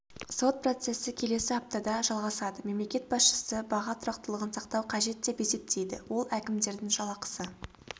сот процесі келесі аптада жалғасады мемлекет басышысы баға тұрақтылығын сақтау қажет деп есептейді ол әкімдердің жалақысы